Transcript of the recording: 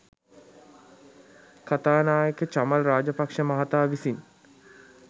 කථානායක චමල් රාජපක්‍ෂ මහතා විසින්